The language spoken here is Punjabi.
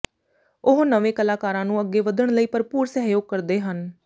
ਉਹ ਨਵੇਂ ਕਲਾਕਾਰਾਂ ਨੂੰ ਅੱਗੇ ਵੱਧਣ ਲਈ ਭਰਪੂਰ ਸਹਿਯੋਗ ਕਰਦੇ ਹਨ